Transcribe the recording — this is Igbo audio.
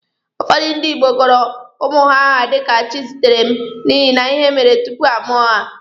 Ụfọdụ ndị Igbo gọrọ ụmụ ha aha dika Chizitere n'ihi ihe mere tupu a mụọ ha.